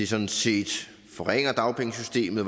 sådan set forringer dagpengesystemet